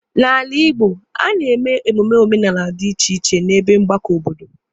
N'ala Igbo, a na-eme emume omenala dị iche iche n'ebe mgbakọ obodo.